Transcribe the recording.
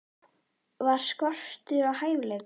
Var skortur á hæfileikum?